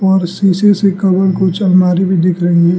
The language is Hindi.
और शीशे से कवर कुछ अलमारी भी दिख रही है।